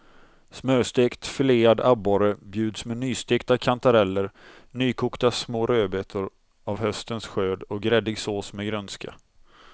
Smörstekt filead abborre bjuds med nystekta kantareller, nykokta små rödbetor av höstens skörd och gräddig sås med grönska.